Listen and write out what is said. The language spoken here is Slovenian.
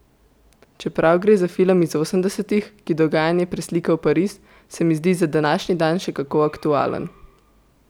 Čeprav gre za film iz osemdesetih, ki dogajanje preslika v Pariz, se mi zdi za današnji dan še kako aktualen.